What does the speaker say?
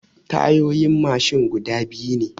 Tayoyin mashin guda biyu ne.